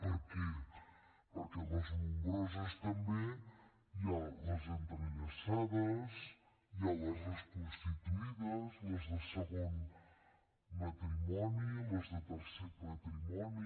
per què perquè a les nombroses també hi ha les entrellaçades hi ha les reconstituïdes les de segon matrimoni les de tercer matrimoni